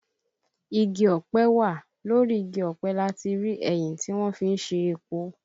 Igi ọ̀pẹ wà, lórí igi ọ̀pẹ láti rí ẹyìn tí wọ́n fí ń se epo